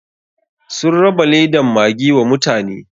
Sun raba ledan maggi wa mutane.